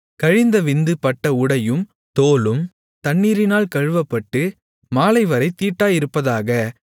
கழிந்த விந்து பட்ட உடையும் தோலும் தண்ணீரினால் கழுவப்பட்டு மாலைவரைத் தீட்டாயிருப்பதாக